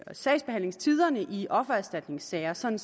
sagsbehandlingstiderne i offererstatningssager sådan